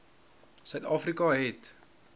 suid afrika het